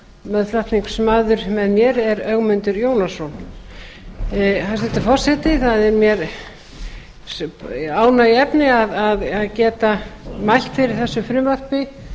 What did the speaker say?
meðflutningsmaður með mér er háttvirtur þingmaður ögmundur jónasson hæstvirtur forseti það er mér ánægjuefni að geta mælt fyrir þessu frumvarpi